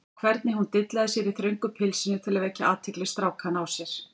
Og hvernig hún dillaði sér í þröngu pilsinu til að vekja athygli strákanna á sér!